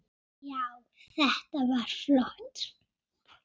Já, þetta var flott.